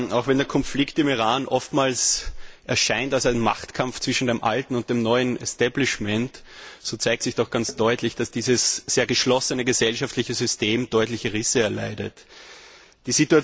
Auch wenn der Konflikt im Iran oftmals als ein Machtkampf zwischen dem alten und dem neuen Establishment erscheint, so zeigt sich doch ganz deutlich, dass dieses sehr geschlossene gesellschaftliche System deutliche Risse aufweist.